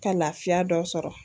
Ka lafiya dɔ sɔrɔ